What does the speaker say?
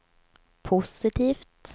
positivt